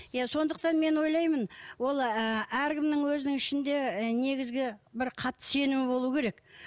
иә сондықтан мен ойлаймын ол ы әркімнің өзінің ішінде і негізгі бір қатты сенімі болуы керек